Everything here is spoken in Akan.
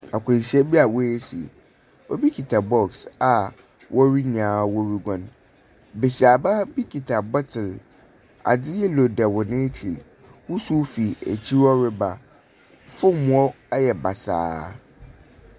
Akwanhyia bi a ɔasi, obo kita box a hɔn nyinaa regua. Besiaba bi kita bottles. Ade yellow da wɔn akyi. Wusuw fi akyi hɔ reba fam hɔ ayɛ basaa.